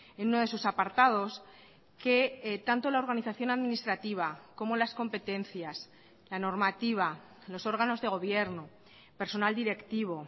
en uno de sus apartados que tanto la organización administrativa como las competencias la normativa los órganos de gobierno personal directivo